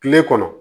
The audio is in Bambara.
Kile kɔnɔ